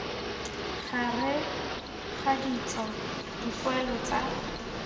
gareg ga ditso dipoelo tsa